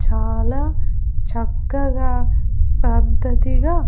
చాలా చక్కగా పద్ధతిగా--